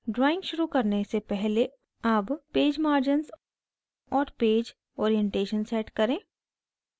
drawing शुरू करने से पहले अब पेज margins और पेज orientation set करें